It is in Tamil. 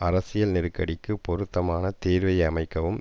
அரசியல் நெருக்கடிக்கு பொருத்தமான தீர்வை அமைக்கவும்